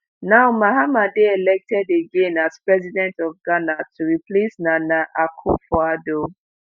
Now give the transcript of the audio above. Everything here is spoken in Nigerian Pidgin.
now mahama dey elected again as president of ghana to replace nana akufo-addo.